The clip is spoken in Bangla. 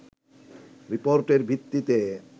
রিপোর্টের ভিত্তিতে